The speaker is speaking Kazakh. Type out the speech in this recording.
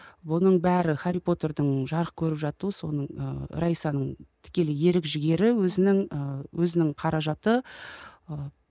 бұның бәрі хәрри потердің жарық көріп жатуы соның ы раисаның тікелей ерік жігері өзінің ыыы өзінің қаражаты ы